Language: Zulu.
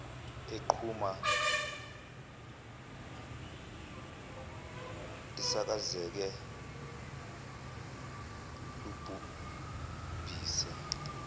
eliqhuma lisakazeke libhubhise